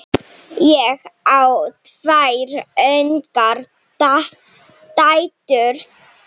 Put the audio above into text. Ég á tvær ungar dætur.